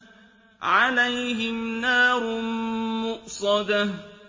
عَلَيْهِمْ نَارٌ مُّؤْصَدَةٌ